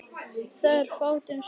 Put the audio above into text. Það er fátt um svör.